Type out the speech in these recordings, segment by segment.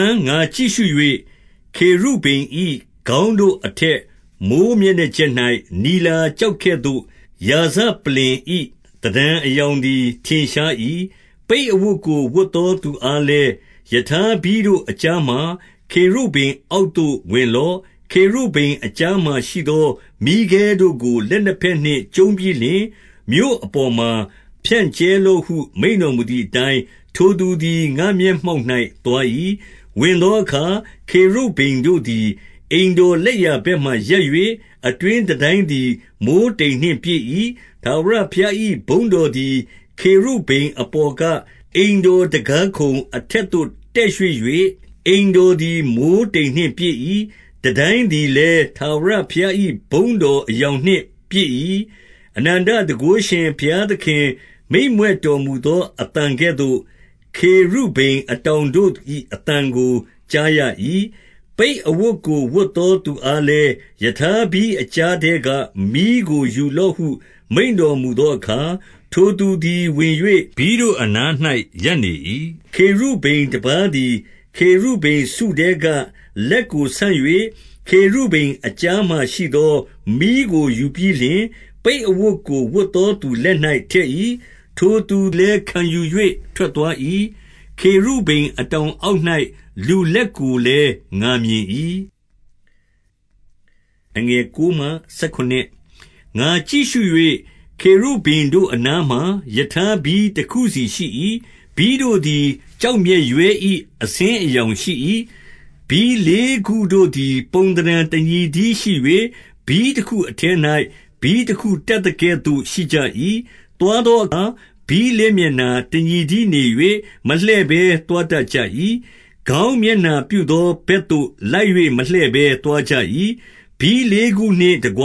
န် ငါကြည့်ရှု၍၊ ခေရုဗိမ်၏ခေါင်းတို့ အထက်မိုဃ်းမျက်နှာကြက်၌နီလာကျော်ကဲ့သို့၊ ရာဇပလ္လင် ၏ သဏ္ဌာန်အရောင်သည် ထင်ရှား၏။ 2 ပိတ်အဝတ်ကိုဝတ်သော သူအားလည်း၊ ရထား ဘီးတို့အကြားမှာ ခေရုဗိမ်အောက်သို့ဝင်လော့။ ခေရုဗိမ် အကြားမှာရှိသော မီးခဲတို့ကို လက်နှစ်ဘက်နှင့် ကျုံးပြီး လျှင်၊ မြို့အပေါ်မှာ ဖြန့်ကြဲလော့ဟု မိန့်တော်မူသည် အတိုင်း၊ ထိုသူသည် ငါ့မျက်မှောက်၌သွား၏။ 3 ဝင်သောအခါ ခေရုဗိမ်တို့သည် အိမ်တော် လက်ျာဘက်မှာရပ်၍၊ အတွင်းတန်တိုင်းသည် မိုဃ်းတိမ် နှင့်ပြည့်၏။ 4 ထာဝရဘုရား၏ ဘုန်းတော်သည် ခေရုဗိမ် အပေါ်က အိမ်တော်တံခါးခုံအထက်သို့ တက်ရွှေ့၍၊ အိမ်တော်သည် မိုဃ်းတိမ်းနှင့်ပြည့်၏။တန်တိုင်းသည် လည်း၊ ထာဝရဘုရား၏ ဘုန်းတော်အရောင်နှင့်ပြည့်၏။ 5 အနန္တတန်ခိုးရှင်ဘုရားသခင် မိန့်မြွက်တော်မူ သော အသံကဲ့သို့ ခေရုဗိမ်အတောင်တို့၏ အသံကို ကြား ရ၏။ 6 ပိတ်အဝတ်ကိုဝတ်သောသူအားလည်း၊ ရထား ဘီးအကြားထဲက မီးကိုယူလော့ဟု မိန့်တော်မူသောအခါ၊ ထိုသူသည်ဝင်၍ ဘီးတို့အနား၌ ရပ်နေ၏။ 7 ခေရုဗိမ်တပါးသည် ခေရုဗိမ်စုထဲက လက်ကို ဆန့်၍၊ ခေရုဗိမ်အကြားမှာရှိသော မီးကိုယူပြီးလျှင်၊ ပိတ်အဝတ်ကို ဝတ်သောသူလက်၌ ထည့်၏။ ထိုသူလည်း ခံယူ၍ထွက်သွား၏။ 8 ခေရုဗိမ်အတောင်အောက်၌ လူလတ်ကိုလည်း ငါမြင်၏။ 9 ငါကြည့်ရှု၍၊ ခေရုဗိမ်တို့အနားမှာ ရထားဘီး တခုစီရှိ၏။ ဘီးတို့သည် ကျောက်မျက်ရွဲ၏ အဆင်း အရောင်ရှိ၏။ 10 ဘီးလေးခုတို့သည်ပုံသဏ္ဌာန်တညီတည်းရှိ၍၊ ဘီးတခုထဲ၌ ဘီးတခုတပ်သကဲ့သို့ရှိကြ၏။ 11 သွားသောအခါ ဘီးလေးမျက်နှာတညီတည်း နေ၍၊ မလှည့်ဘဲ သွားတတ်ကြ၏။ ခေါင်းမျက်နှာပြုသော ဘက်သို့လိုက်၍ မလှည့်ဘဲ သွားကြ၏။ 12 ဘီးလေးခုနှင့်တကွ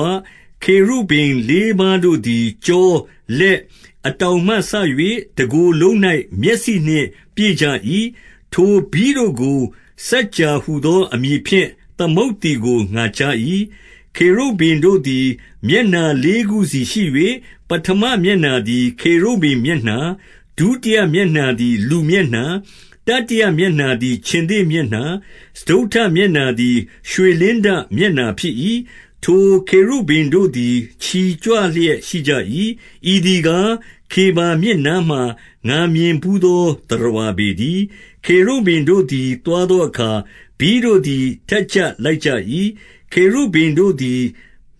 ခေရုဗိမ်လေးပါးတို့သည် ကျော၊ လက်၊ အတောင်မှစ၍ တကိုယ်လုံး၌ မျက်စိနှင့် ပြည့်ကြ၏။ 13 ထိုဘီးတို့ကို စကြာဟူသော အမည်ဖြင့် သမုတ် သည်ကို ငါကြား၏။ 14 ခေရုဗိမ်တို့သည် မျက်နှာလေးခုစီရှိ၍၊ ပဌမ မျက်နှာသည် ခေရုဗိမ်မျက်နှာ၊ ဒုတိယမျက်နှာသည် လူမျက်နှာ၊ တတိယမျက်နှာသည် ခြင်္သေ့မျက်နှာ၊ စတုတ္ထမျက်နှာသည် ရွှေလင်းတမျက်နှာဖြစ်၏။ 15 ထိုခေရုဗိမ်တို့သည် ချီကြွလျက် ရှိကြ၏။ ဤသည်ကား၊ ခေဗာမြစ်နားမှာ ငါမြင်ဘူးသော သတ္တဝါ ပေတည်း။ 16 ခေရုဗိမ်တို့သည် သွားသောအခါ ဘီးတို့သည် ထက်ကြပ်လိုက်ကြ၏။ ခေရုဗိမ်တို့သည်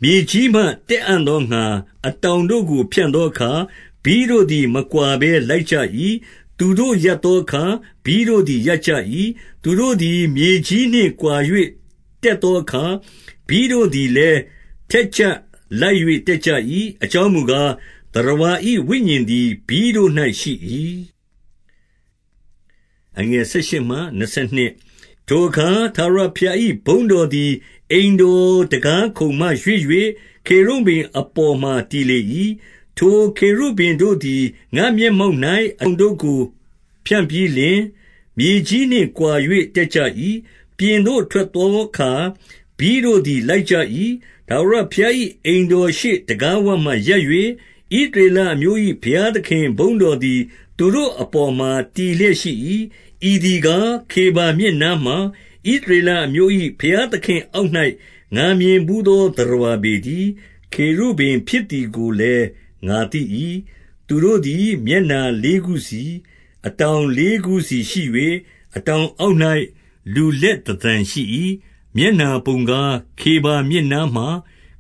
မြေကြီးမှ တက်အံ့သောငှါ အတောင်တို့ကို ဖြန့်သောအခါ၊ ဘီးတို့ သည် မကွာဘဲလိုက်ကြ၏။ 17 သူတို့ရပ်သောအခါ ဘီးတို့သည်ရပ်ကြ၏။ သူတို့သည် မြေကြီးနှင့်ကွာ ၍တက်သောအခါ၊ ဘီးတို့သည်လည်း ထက်ကြပ်လိုက်၍ တက်ကြ၏။ အကြောင်းမူကား၊ သတ္တဝါ၏ ဝိညာဉ်သည် ဘီးတို့၌ရှိ၏။ 18 ထိုအခါ ထာဝရဘုရား၏ ဘုန်းတော်သည် အိမ်တော်တံခါးခုံမှ ရွှေ့၍ခေရုဗိမ်အပေါ်မှာ တည်လေ ၏။ 19 ထိုခေရုဗိမ်တို့သည် ငါ့မျက်မှောက်၌ အတောင် တို့ကို ဖြန့်ပြီးလျှင်၊ မြေကြီးနှင့်ကွာ၍ တက်ကြ၏။ ပြင်သို့ ထွက်သောအခါ ဘီးတို့သည် လိုက်ကြ၏။ ထာဝရဘုရား ၏ အိမ်တော်ရှေ့တံခါးဝမှာ ရပ်၍၊ ဣသရေလအမျိုး၏ ဘုရားသခင်ဘုန်းတော်သည် သူတို့အပေါ်မှာ တည်လျက် ရှိ၏။ 20 ဤသည်ကား၊ ခေဗာမြစ်နားမှာ ဣသရေလ အမျိုး၏ ဘုရားသခင့်အောက်၌ ငါမြင်ဘူးသော သတ္တဝါ ပေတည်း။ ခေရုဗိမ်ဖြစ်သည်ကိုလည်း ငါသိ၏။ 21 သူတို့သည် မျက်နှာလေးခုစီ၊ အတောင်လေးလုံး စီရှိ၍၊ အတောင်အောက်၌ လူလက်သဏ္ဌာန်ရှိ၏။ 22 မျက်နှာပုံကား၊ ခေဗာမြစ်နားမှာ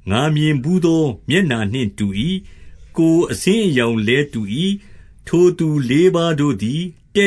ငါမြင်ဘူး သောမျက်နှာနှင့်တူ၏။ ကိုယ်အဆင်းအရောင်လည်း တူ၏။ ထိုသူလေးပါးတို့သည် တ